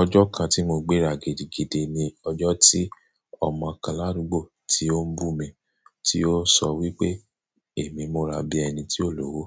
Ojo kan ti mo gbera gidigidi ni ojo ti omo kan larugbo ti o n bu mi ti o so wipe emi mura bi eni ti o lowo.